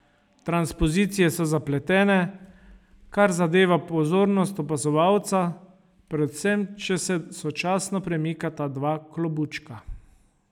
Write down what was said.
Transpozicije so zapletene, kar zadeva pozornost opazovalca, predvsem če se sočasno premikata dva klobučka.